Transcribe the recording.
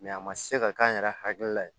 Mɛ a ma se ka k'an yɛrɛ hakili la ye